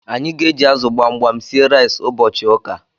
Anyi g'eji azu gbamgbam sie rice ubochi uka